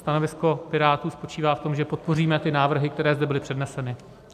Stanovisko Pirátů spočívá v tom, že podpoříme ty návrhy, které zde byly předneseny.